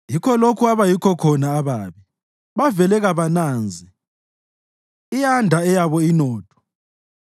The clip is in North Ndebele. Yikho lokhu abayikho khona ababi bavele kabananzi, iyanda eyabo inotho.